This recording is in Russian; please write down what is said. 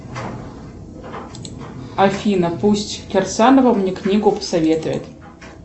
афина пусть кирсанова мне книгу посоветует